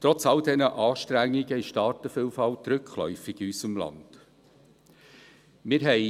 Trotz all dieser Anstrengungen ist die Artenvielfalt in unserem Land rückläufig.